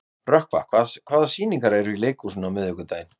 Rökkva, hvaða sýningar eru í leikhúsinu á miðvikudaginn?